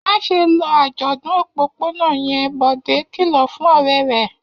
Má ṣe lọ àjọ̀dún òpópónà yẹn! Bọ̀dé kìlọ̀ fún ọ̀rẹ́ rẹ̀.